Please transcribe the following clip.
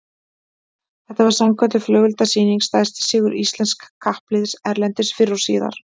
Þetta var sannkölluð flugeldasýning, stærsti sigur íslensks kappliðs erlendis fyrr og síðar